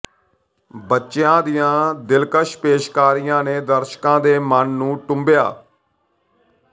ਬੱਚਿਆਂ ਦੀਆਂ ਦਿਲਕਸ਼ ਪੇਸ਼ਕਾਰੀਆਂ ਨੇ ਦਰਸ਼ਕਾਂ ਦੇ ਮਨ ਨੂੰ ਟੁੰਬਿਆ